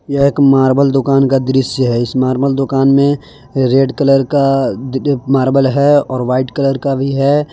यह एक मार्बल दुकान का दृश्य है इस मार्बल दुकान में रेड कलर का मार्बल है और वाइट कलर का भी है।